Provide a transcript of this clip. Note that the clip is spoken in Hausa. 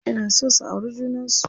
Ina so su auri junan su.